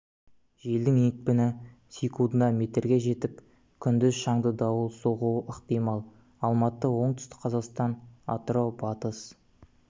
желдің екпіні секундына метрге жетіп күндіз шаңды дауыл соғуы ықтимал алматы оңтүстік қазақстан атырау батыс